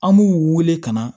An b'u wele ka na